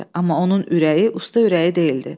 Amma onun ürəyi usta ürəyi deyildi.